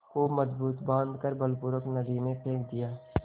खूब मजबूत बॉँध कर बलपूर्वक नदी में फेंक दिया